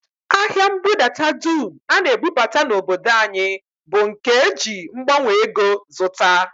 Ahịa mbudadata dum a na-ebubata n'obodo anyị bụ nke e ji mgbanwe ego zụta